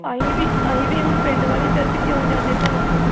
ਅਸੀਂ ਵੀ ਅਸੀਂ ਵੀ ਹੁਣ ਪਿੰਡ ਵਾਲੀ church ਕਿਉਂ ਜਾਨੇ ਭਲਾ